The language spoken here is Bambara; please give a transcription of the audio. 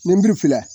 Ni nburu filɛ